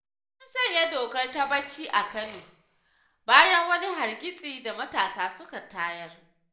An sanya dokar ta-ɓaci a Kano, bayan wani hargitsi da matasa suka tayar.